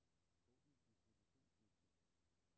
Åbn distributionsliste.